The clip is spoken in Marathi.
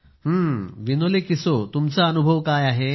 हं विनोले किसो तुमचा अनुभव काय आहे